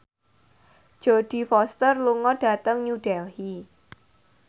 Jodie Foster lunga dhateng New Delhi